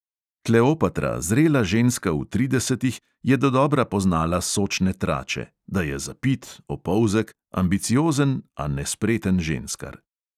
Kleopatra, zrela ženska v tridesetih, je dodobra poznala sočne trače: da je zapit, opolzek, ambiciozen, a nespreten ženskar.